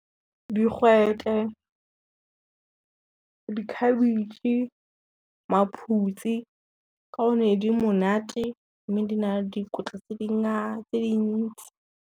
Digwete, dikhabetšhe, maphutsi ka one di monate, mme di na le dikotla tse dintsi.